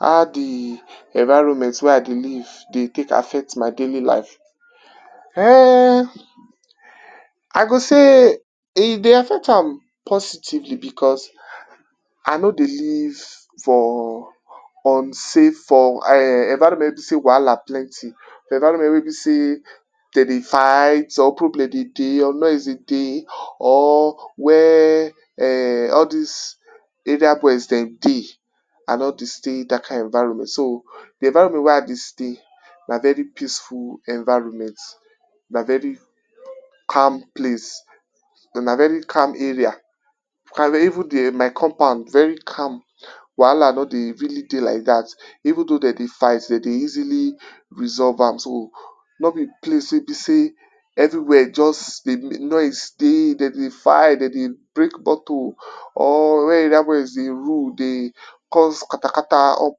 How di environment wey I dey live dey tek affect my daily life? Ehnnn, I go sey, e dey affect am positively, because I no dey live for unsafe, for um, environment wey be sey wahala plenty, for environment wey be sey den dey fight, or problem dey dey or nosie dey dey, or where um, all dis area boys den dey, I no dey stay dat kind environment, so, di environment wey I dey stay na very peaceful environment, na very calm place and na very calm area, I dey even dey, my compound very calm, wahala no dey really dey like dat, even dough den dey fight den dey easily resolve am, so, nor be place wey be sey, everywhere just dey noise dey, den dey fight, den dey break bottle or where area boys dey rule dey cause katakata up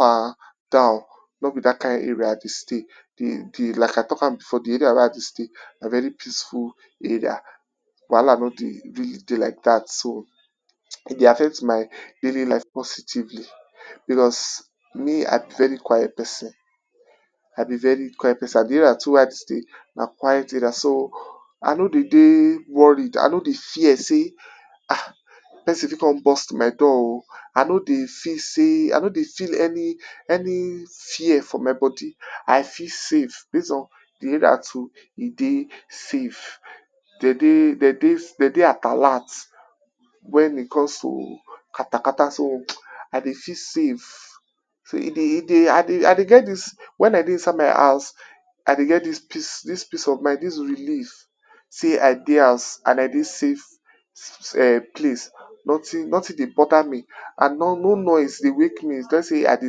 and down, nor be dat kind area I dey stay. Di di like I talk am before di area wey I dey stay na very peaceful area, wahala nor dey really dey like dat so, e dey affect my daily life positively. Because me, I be very quiet person, I be very quiet person and di area too wey I dey stay na quiet area, so, I no dey dey worried, I no dey fear sey, ah, person fit kon burst my door o, I no dey feel sey, I no dey feel any any fear for my body, I feel safe, base on di area too e dey safe. Den dey…den dey…den dey at alert wen it comes to katakata, so, I dey feel safe, so e dey…e deyI dey, I dey get dis… wen I dey inside my house, I dey get dis peace, dis peace of mind, dis relieve sey I dey house and I dey safe um, place, notin notin dey boda me, and nor no noise dey wake me, let’s sey I dey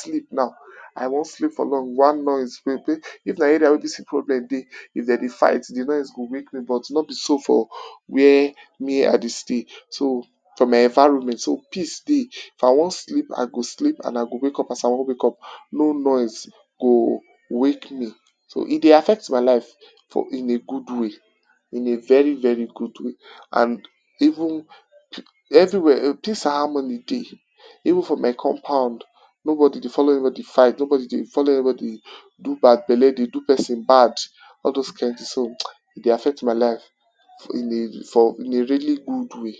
sleep now, I wan sleep for long, one noise, if na area wey be sey problem dey, if den dey fight, di noise go wake me, but, nor be so for where me I dey stay. So, for my environment, so, peace dey, if I wan sleep I go sleep and I go wake up as I wan wake up, no noise go wake me. So, e dey affect my life for in a good way, in a very very good way and even, everywhere, peace and harmony dey, even for my compound, nobody dey follow anybody fight, nobody dey follow anybody do bad belle dey do person bad, all dose kind tin, so, e dey affect my life in a for, in a really good way.